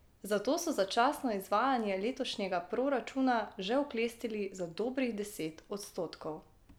Zato so začasno izvajanje letošnjega proračuna že oklestili za dobrih deset odstotkov.